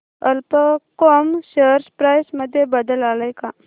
कल्प कॉम share price मध्ये बदल आलाय का